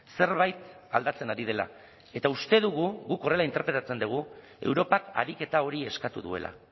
zerbait aldatzen ari dela eta uste dugu guk horrela interpretatzen dugu europak ariketa hori eskatu duela